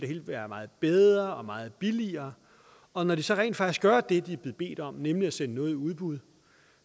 hele være meget bedre og meget billigere og når de så rent faktisk gør det de er blevet bedt om nemlig at sende noget i udbud